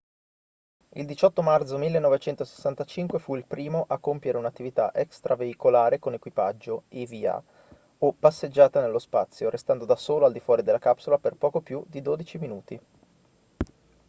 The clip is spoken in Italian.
il 18 marzo 1965 fu il primo a compiere un'attività extraveicolare con equipaggio eva o passeggiata nello spazio restando da solo al di fuori della capsula per poco più di dodici minuti